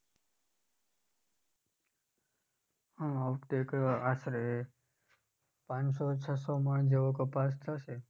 હા આ વખતે એક આશરે પાંચસો છસો મણ જેવો કપાસ થશે.